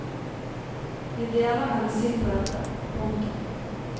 Vi deler hennes syn på dette. punktum